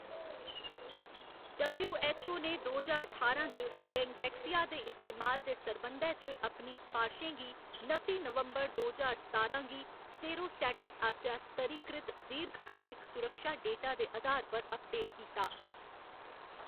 W. H. O. ने दो ज्हार ठारां च डेंगवैक्सिया दे इस्तेमाल दे सरबंधै च अपनी सफारशें गी नत्ती नवंबर दो ज्हार सतारां गी सेरोस्टैटस आसेआ स्तरीकृत दीर्घकालिक सुरक्षा डेटा दे अधार पर अपडेट कीता।